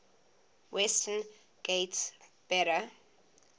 western ghats better